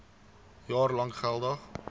jaar lank geldig